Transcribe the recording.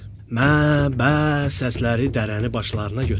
Mə, bə səsləri dərəni başlarına götürdü.